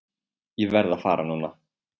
Ég verð að fara núna!